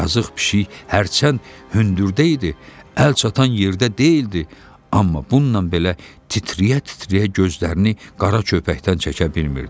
Yazıq pişik hərçənd hündürdə idi, əl çatan yerdə deyildi, amma bununla belə titrəyə-titrəyə gözlərini qara köpəkdən çəkə bilmirdi.